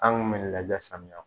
An kun bɛ lajɛ samiya.